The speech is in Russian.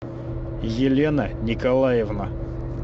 елена николаевна